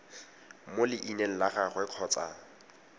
mo leineng la gagwe kgotsa